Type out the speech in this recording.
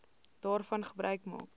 daarvan gebruik maak